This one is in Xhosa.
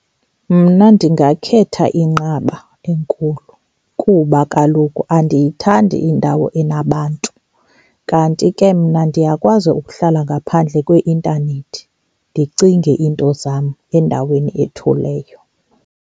Mna ndingakhetha inqaba enkulu kuba kaloku andiyithandi indawo enabantu. Kanti ke mna ndiyakwazi ukuhlala ngaphandle kweintanethi ndicinge iinto zam endaweni ethuleyo.